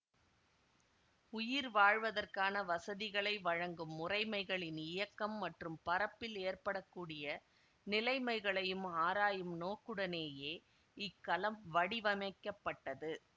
உயிர் வாழ்வதற்கான வசதிகளை வழங்கும் முறைமைகளின் இயக்கம் மற்றும் பறப்பில் ஏற்பட கூடிய நிலைமைகளையும் ஆராயும் நோக்குடனேயே இக்கலம் வடிவமைக்கப்பட்டது